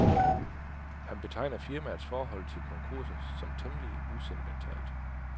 Han betegner firmaets forhold til konkurser som temmelig usentimentalt.